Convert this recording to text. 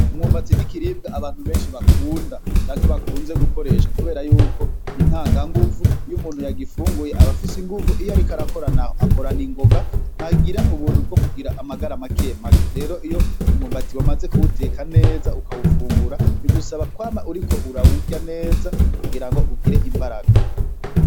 Umwumbati nikiribwa abantu benshi bakunda canke bakunze gukoresha kuberayuko nintanganguvu, iyo umuntu yagifunguye aba afise inguvu iyo ariko arakora naho akorana ingoga ntagira ubuntu bwo kugira amagara make make. Rero iyo wamaze kuwuteka neza ukawufungura bigusaba kwama uriko urawurya neza kugira ugire inguvu.